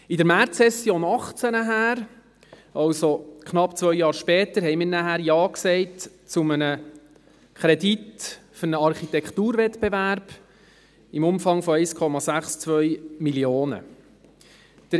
In der Märzsession 2018 nachher, also knapp zwei Jahre später, haben wir Ja gesagt zu einem Kredit für einen Architekturwettbewerb im Umfang von 1,62 Mio. Franken.